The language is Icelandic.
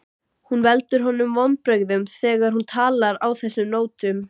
Hún veldur honum vonbrigðum þegar hún talar á þessum nótum.